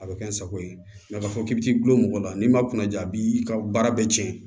A bɛ kɛ n sago ye a k'a fɔ k'i bɛ t'i gulon mɔgɔw la n'i ma kuna ja a b'i ka baara bɛɛ cɛn